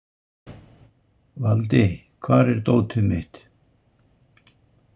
Valdi, hvar er dótið mitt?